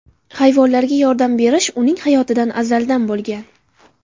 Hayvonlarga yordam berish uning hayotida azaldan bo‘lgan.